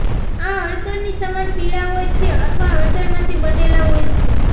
આ હળદરની સમાન પીળા હોય છે અથવા હળદરમાંથી બનેલા હોય છે